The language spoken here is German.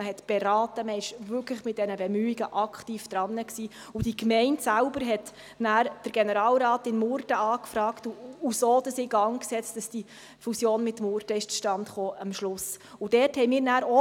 Man hat beraten, man war mit diesen Bemühungen wirklich aktiv dran, und die Gemeinde selbst fragte danach den Generalrat in Murten an und setzte so in Gang, dass diese Fusion mit Murten am Schluss zustande kommt.